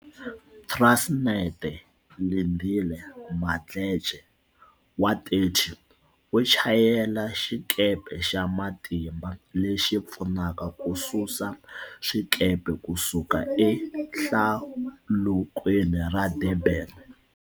Transnet Lindile Mdletshe, 30, u chayela xikepe xa matimba lexi pfunaka kususa swikepe ku suka eHlalukweni ra Durban.